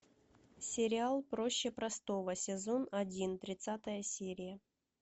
сериал проще простого сезон один тридцатая серия